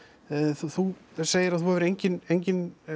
þú segir að þú hafir engin engin